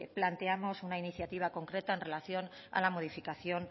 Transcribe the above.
planteamos una iniciativa concreta en relación a la modificación